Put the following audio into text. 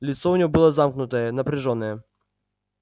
лицо у него было замкнутое напряжённое